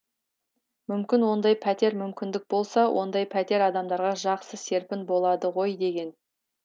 мүмкін ондай пәтер мұмкіндік болса ондай пәтер адамдарға жақсы серпін болады ғой деген